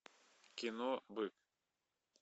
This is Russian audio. кино бык